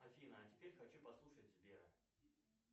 афина а теперь хочу послушать сбера